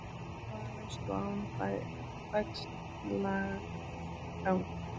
Hávaðalaust og án bægslagangs.